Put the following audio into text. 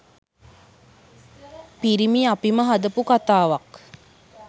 පිරිමි අපිම හදපු කථාවක්.